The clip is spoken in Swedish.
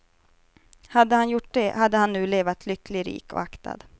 Hade han gjort det hade han nu levat lycklig, rik och aktad.